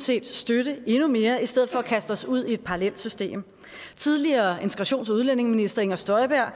set støtte endnu mere i stedet for at kaste os ud i et parallelt system tidligere integrations og udlændingeminister inger støjberg